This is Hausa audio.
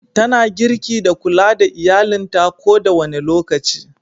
Tana girki da kulla da iyallinta ko da wane lokaci.